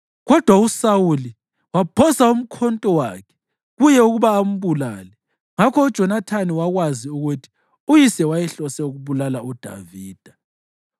Kodwa uSawuli waphosa umkhonto wakhe kuye ukuba ambulale. Ngakho uJonathani wakwazi ukuthi uyise wayehlose ukubulala uDavida.